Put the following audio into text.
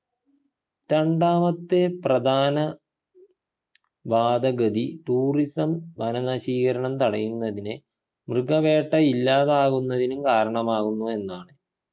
രണ്ടാമത്തെ പ്രധാന വാദഗതി tourism വന നശീകരണം തടയുന്നതിനെ മൃഗവേട്ട ഇല്ലാതാവുന്നതിനും കാരണമാകുന്നു എന്നാണ്